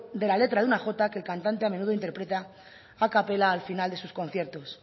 de la letra de una jota que el cantante a menudo interpreta a capela al final de sus conciertos